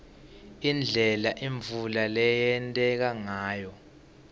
indlela imvula leyenteka ngayo